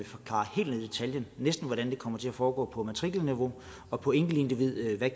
næsten hvordan det kommer til at foregå på matrikelniveau og på enkeltindividniveau